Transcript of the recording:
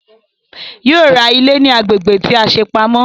Yóò ra ilé ní agbègbè tí a ṣe pamọ́